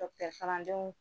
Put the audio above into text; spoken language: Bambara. kalandenw